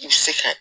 I bɛ se ka